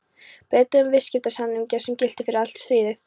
Breta um viðskiptasamninga, sem giltu fyrir allt stríðið.